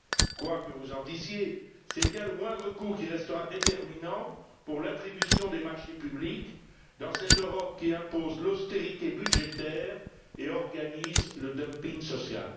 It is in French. Quoi que vous en disiez, c'est bien le moindre coût qui restera déterminant pour l'attribution des marchés publics dans cette Europe qui impose l'austérité budgétaire et organise le dumping social.